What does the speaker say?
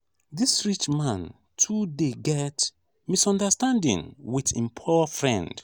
dis rich man too dey get misunderstanding wit im poor friend.